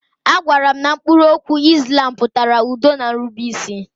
A gwaara m na mkpụrụ okwu Islam pụtara udo na nrubeisi.